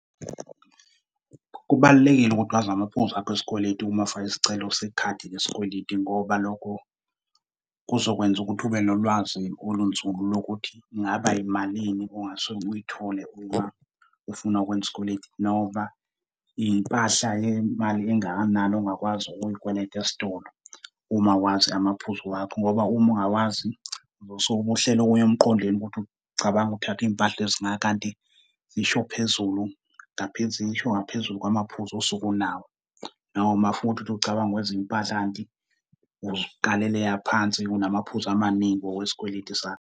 Kubalulekile ukuthi wazi amaphuzu akho esikweletu uma ufaka isicelo sekhadi lesikweleti ngoba lokho kuzokwenza ukuthi ube nolwazi olunzulu lokuthi kungaba yimalini ongase uyithole uma ufuna ukwenza isikweleti, noma iy'mpahla yemali engakanani ongakwazi ukuyikweleta esitolo. Uma wazi amaphuzu wakho, ngoba uma ungawazi, uzosuke ube uhlela okunye emqondweni ukuthi ucabanga ukuthatha izimpahla ezinganga kanti zisho phezulu zisho ngaphezulu kwamaphuzu osuke unawo. Noma futhi uthi ucabanga ukweza impahla kanti uzikalele aphansi, unamaphuzu amaningi ngokwesikweletu sakho.